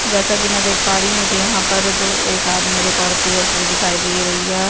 जैसे की मैं यहाँ पे देख पा रही मुझे यहाँ पर दो एक आदमी और एक औरत की तस्वीर दिखाई दे रही है।